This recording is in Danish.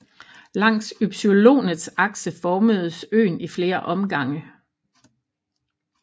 Langs ypsilonets akse formedes øen i flere omgange